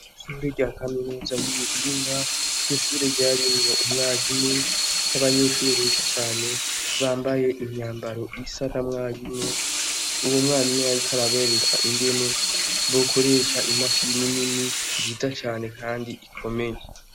Sore rya kaminuza y'uhinga keshure ryarimibo umwarimu n'abanyishure beshi cane bambaye imyambaro isara mwarimu uwo mwarimu yariko arabereka ingene bokoresha imashi ninini zita cane, kandi ikomeye.